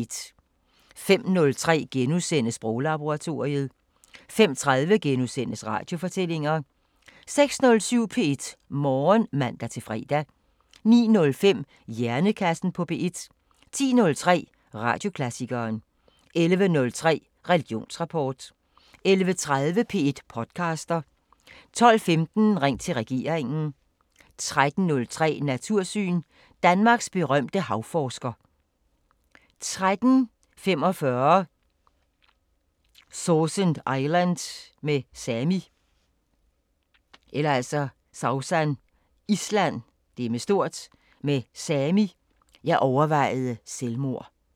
05:03: Sproglaboratoriet * 05:30: Radiofortællinger * 06:07: P1 Morgen (man-fre) 09:05: Hjernekassen på P1 10:03: Radioklassikeren 11:03: Religionsrapport 11:30: P1 podcaster 12:15: Ring til regeringen 13:03: Natursyn: Danmarks berømte havforsker 13:45: Sausan Island med Sami: "Jeg overvejede selvmord"